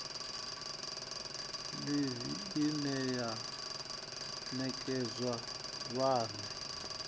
ḽivi ine ya nekedzwa vhane